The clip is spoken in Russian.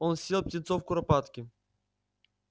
он съел птенцов куропатки